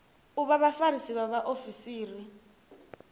u vha vhafarisi vha vhaofisiri